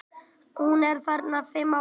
Hún er þarna fimm ára.